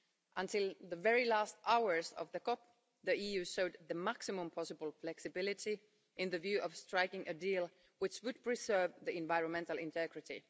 Until the very last hours of the COP, the EU showed the maximum possible flexibility in view of striking a deal which would preserve environmental integrity.